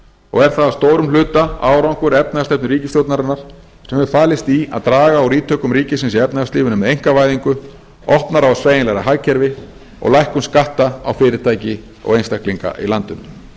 og er það að stórum hluta árangur efnahagsstefnu ríkisstjórnarinnar sem hefur falist í að draga úr ítökum ríkisins í efnahagslífinu með einkavæðingu opnara og sveigjanlegra hagkerfi og lækkun skatta á fyrirtæki og einstaklinga í landinu